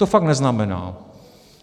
To fakt neznamená.